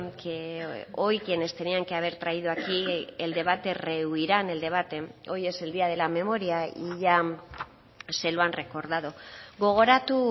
que hoy quienes tenían que haber traído aquí el debate rehuirán el debate hoy es el día de la memoria y ya se lo han recordado gogoratu